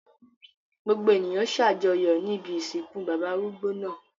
Gbogbo ènìyàn ṣàjọyọ̀ ní ibi ìsìnkú bàbá arúgbó náà.